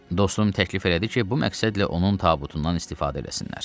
Dostu təklif elədi ki, bu məqsədlə onun tabutundan istifadə eləsinlər.